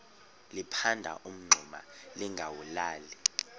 liphanda umngxuma lingawulali